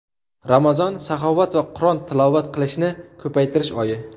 Ramazon saxovat va Qur’on tilovat qilishni ko‘paytirish oyi.